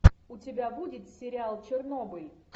у тебя будет сериал чернобыль